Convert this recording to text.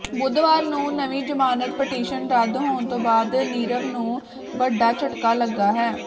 ਬੁੱਧਵਾਰ ਨੂੰ ਨਵੀਂ ਜ਼ਮਾਨਤ ਪਟੀਸ਼ਨ ਰੱਦ ਹੋਣ ਤੋਂ ਬਾਅਦ ਨੀਰਵ ਨੂੰ ਵੱਡਾ ਝਟਕਾ ਲੱਗਾ ਹੈ